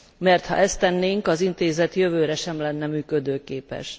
mert ha ezt tennénk, az Intézet jövőre sem lenne működőképes.